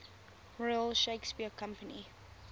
royal shakespeare company